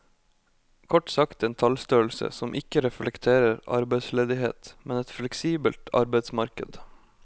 Kort sagt en tallstørrelse som ikke reflekterer arbeidsledighet, men et fleksibelt arbeidsmarked.